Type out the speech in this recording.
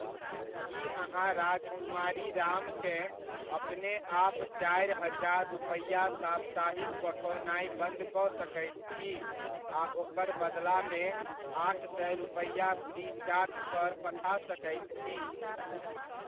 की अहाँ राजकुमारी राम केँ अपने आप चारि हजार रुपैआ साप्ताहिक पठओनाइ बन्द कऽ सकैत छी आ ओकर बदलामे आठ सए रुपैआ फ्रीचार्ज पर पठा सकैत छी ?